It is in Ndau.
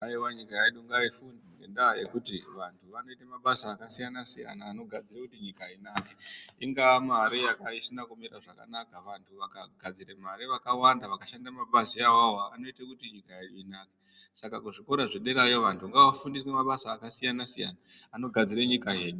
Aiwa nyika yedu ngaifunde, ngendaa yekuti vanthu vanoita mabasa akasiyana-siyana, anogadzira kuti nyika inake. Ingaa mare isina kumira zvakanaka vanthu vakagadzire mare vakawanda, vakashanda mabazi awawo, anoita kuti nyika yedu inake. Saka kuzvikora yo iyoyo, vanthu ngavafunde mabasa akasiyana-siyana anogadzira nyika yedu.